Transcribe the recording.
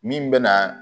Min bɛ na